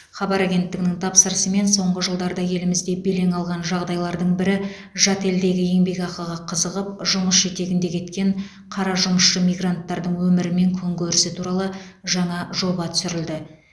хабар агенттігінің тапсырысымен соңғы жылдарда елімізде белең алған жағдайлардың бірі жат елдегі еңбекақыға қызығып жұмыс жетегінде кеткен қара жұмысшы мигранттардың өмірі мен күнкөрісі туралы жаңа жоба түсірілді